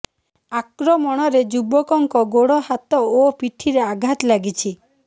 ଆକ୍ରମଣରେ ଯୁବକଙ୍କ ଗୋଡ ହାତ ଓ ପିଠିରେ ଆଘାତ ଲାଗିଛି